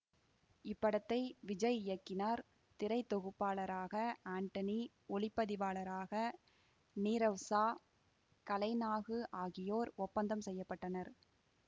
இப்படத்தை விஜய் இயக்கினார் திரைத் தொகுப்பாளராக ஆண்டனி ஒளிப்பதிவாளராக நீரவ்சா கலை நாகு ஆகியோர் ஒப்பந்தம் செய்ய பட்டனர்